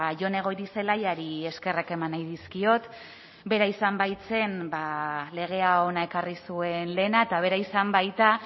jone goirizelaiari eskerrak eman nahi dizkiot bera izan baitzen legea hona ekarri zuen lehena eta bera izan baita